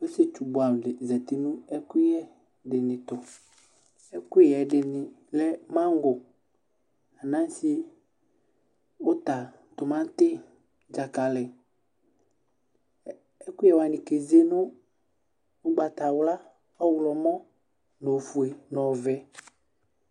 Osietsu buɛdini zati nu ɛkuyɛ dini tu ɛkuyɛ dini lɛ mango anase uta timati dzakali ɛkuyɛ wani keze ugbatawla ɔɣlomɔ nu ofue nu ɔvɛ